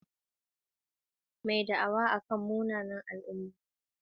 Mai da'awa akan munanan al'umma.